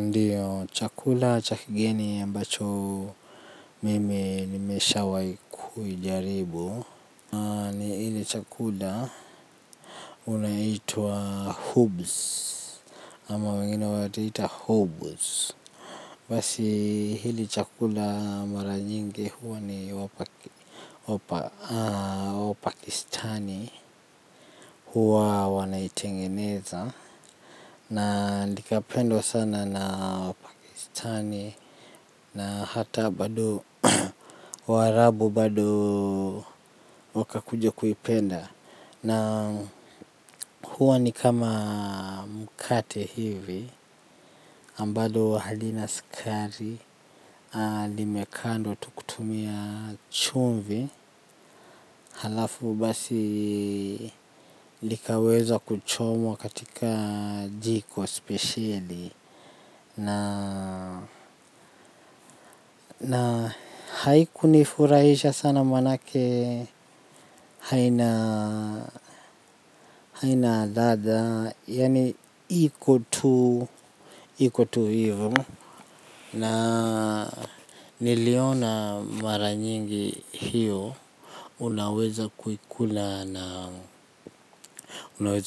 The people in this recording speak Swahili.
Ndiyo chakula cha kigeni ambacho mimi nimeshawai kuijaribu ni hile chakula inaitwa hoobz ama wengine watu huita hoobz basi hili chakula maranyingi huwa ni wa pakistani huwa wanaitengeneza. Na likapendwa sana na wapakistani na hata bado warabu bado waka kuja kuipenda. Na huwa ni kama mkate hivi ambalo halina sukari. Limekandwa tu kutumia chumvi halafu basi likaweza kuchomwa katika jiko spesheli. Na haiku nifurahisha sana manake haina ladha, yaani iko tu, iko tu hivo. Na niliona mara nyingi hiyo, unaweza